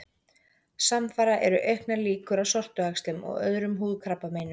Samfara eru auknar líkur á sortuæxlum og öðrum húðkrabbameinum.